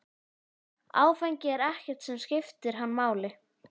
Áfengi er ekkert sem skiptir hann máli.